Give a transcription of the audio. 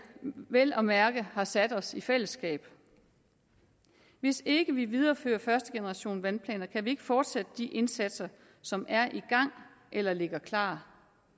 vel at mærke har sat os i fællesskab hvis ikke vi viderefører første generation af vandplaner kan vi ikke fortsætte de indsatser som er i gang eller ligger klar